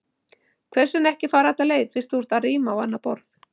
Hvers vegna ekki að fara alla leið, fyrst þú ert að ríma á annað borð?